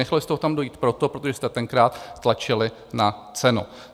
Nechali jste ho tam dojít proto, protože jste tenkrát tlačili na cenu.